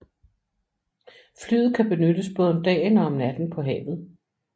Flyet kan benyttes både om dagen og om natten på havet